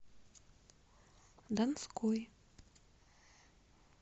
донской